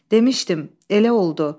Demişdim, elə oldu.